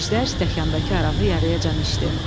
Əjdər stəkandakı arağı yarıyacan içdi.